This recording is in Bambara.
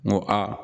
N ko a